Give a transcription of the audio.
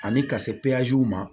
Ani ka se ma